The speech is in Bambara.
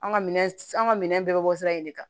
An ka minɛn an ka minɛn bɛɛ bɛ bɔ sira in de kan